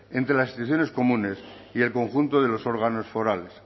entre las instituciones comunes y el conjunto de los órganos forales